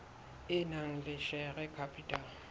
e nang le share capital